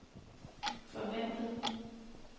forventet